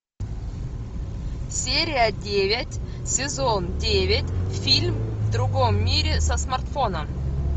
серия девять сезон девять фильм в другом мире со смартфоном